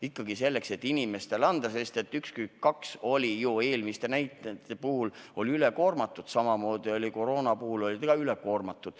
Ikka selleks, et inimestele abi anda, sest 112 oli ju eelmiste näitajate puhul üle koormatud, samamoodi oli ta koroona korral ülekoormatud.